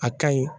A ka ɲi